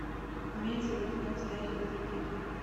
имеется ли у тебя настоящий детектив